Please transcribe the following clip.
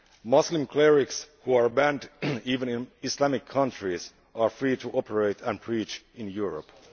Muslim clerics who are banned even in Islamic countries are free to operate and preach in Europe.